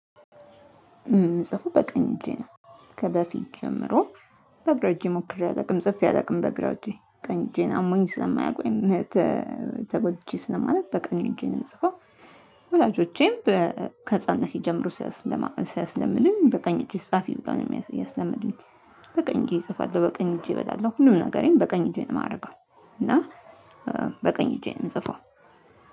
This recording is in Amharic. የምጽፈው በቀኝ እጄ ነው። ከበፊት ጀምሮ በግራ እጄ ሞክሬ አላውቅም ጽፌ አላውቅም በግራ እጄ ቀኝ እጄን አሞኝ ስለማያውቅ ተጎድቼ ስለማላውቅ በቀኝ እጄ ነው የምጽፈው። ወላጆቼም ከህፃንነቴ ጀምሮ ሲያስለምዱኝ በቀኝ እጅሽ ጻፊ ብለው ነው ያስለመዱኝ። በቀኝ እጄ እጽፋለሁ በቀኝ እጄ እበላለሁ ሁሉም ነገሬን በቀኝ እጄን የማደርገው እና በቀኝ እጄ ነው የምጽፈው።